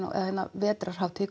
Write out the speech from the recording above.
vetrarhátíð